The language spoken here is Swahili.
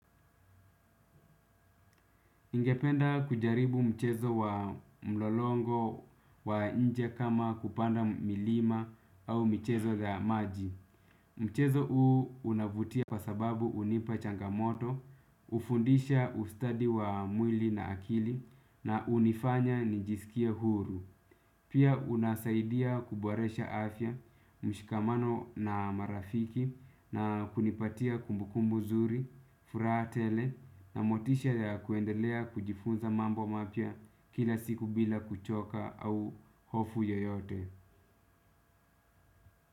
Ningependa kujaribu mchezo wa mlolongo wa nje kama kupanda milima au michezo za maji. Mchezo huu unavutia kwa sababu hunipa changamoto, hufundisha ustadi wa mwili na akili na hunifanya nijisikia huru. Pia unasaidia kubwaresha afya, mshikamano na marafiki na kunipatia kumbukumbu zuri, furaha tele na motisha ya kuendelea kujifunza mambo mapya kila siku bila kuchoka au hofu yeyote.